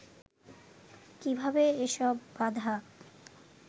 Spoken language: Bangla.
কীভাবে এসব বাধা